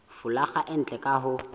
folaga e ntle ka ho